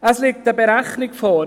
Es liegt eine Berechnung vor: